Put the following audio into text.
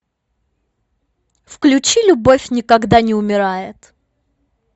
включи любовь никогда не умирает